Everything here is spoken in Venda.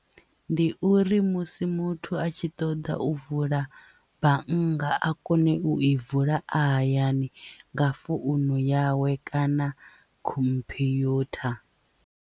Ndi uri musi muthu a tshi ṱoḓa u vula bannga a kone u i vula a hayani nga founu yawe kana khomphyutha.